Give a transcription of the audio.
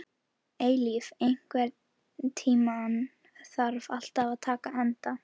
Eilíf, einhvern tímann þarf allt að taka enda.